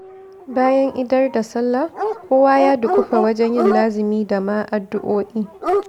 Bayan idar da salla kowa ya duƙufa wajen yin lazumi da ma addu'o'i